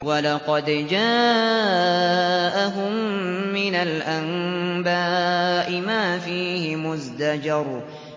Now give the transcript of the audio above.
وَلَقَدْ جَاءَهُم مِّنَ الْأَنبَاءِ مَا فِيهِ مُزْدَجَرٌ